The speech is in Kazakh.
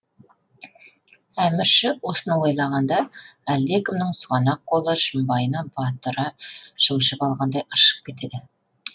әмірші осыны ойлағанда әлдекімнің сұғанақ қолы шымбайына батыра шымшып алғандай ыршып кетеді